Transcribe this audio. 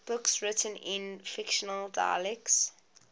books written in fictional dialects